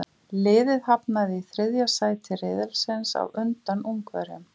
Liðið hafnaði í þriðja sæti riðilsins á undan Ungverjum.